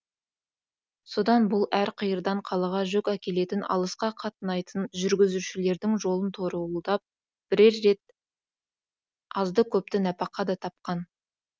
содан бұл әр қиырдан қалаға жүк әкелетін алысқа қатынайтын жүргізушілердің жолын торуылдап бірер рет азды көпті нәпақа да тапқан